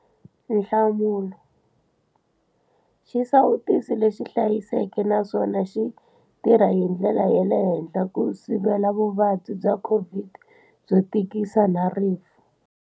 Nhlamulo- Xisawutisi lexi hlayiseke naswona xi tirha hi ndlela ya le henhla ku sivela vuvabyi bya COVID19 byo tikisa na rifu.